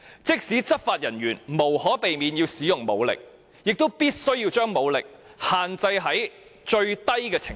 即使執法人員無可避免要使用武力，亦必須把武力限制於最低程度。